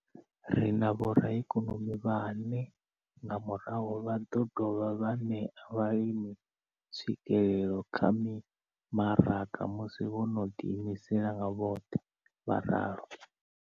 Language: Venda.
Ri na vhoraikonomi vhane nga murahu vha ḓo dovha vha ṋea vhalimi tswikelelo kha mimaraga musi vho no ḓiimisa nga vhoṱhe, vho ralo.